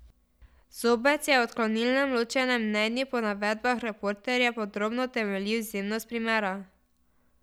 Zobec je v odklonilnem ločenem mnenju po navedbah Reporterja podrobno utemeljil izjemnost primera.